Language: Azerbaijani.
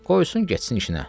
Qoysun getsin işinə.